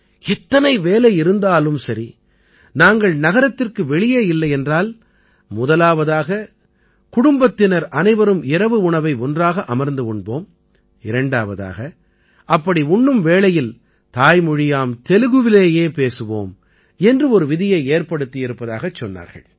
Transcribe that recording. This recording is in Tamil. எத்தனை வேலை இருந்தாலும் சரி நாங்கள் நகரத்திற்கு வெளியே இல்லை என்றால் முதலாவதாக குடும்பத்தினர் அனைவரும் இரவு உணவை ஒன்றாக அமர்ந்து உண்போம் இரண்டாவதாக அப்படி உண்ணும் வேளையில் தாய்மொழியாம் தெலுகுவிலேயே பேசுவோம் என்று ஒரு விதியை ஏற்படுத்தி இருப்பதாகக் கூறினார்கள்